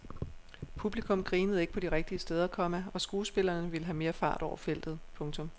Publikum grinede ikke på de rigtige steder, komma og skuespillerne ville have mere fart over feltet. punktum